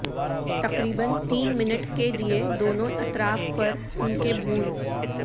تقریبا تین منٹ کے لئے دونوں اطراف پر ان کے بھون